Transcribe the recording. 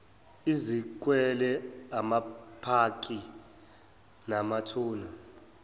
izikwele amapaki namathuna